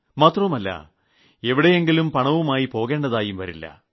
മാത്രമല്ല എവിടെയും പണവുമായി പോകേണ്ടതായും വരില്ല